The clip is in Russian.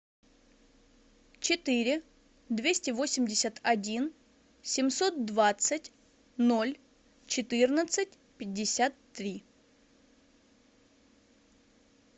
четыре двести восемьдесят один семьсот двадцать ноль четырнадцать пятьдесят три